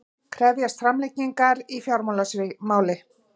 Krefjast framlengingar í fjársvikamáli